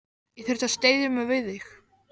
Ég þurfti að styðja mig við þig.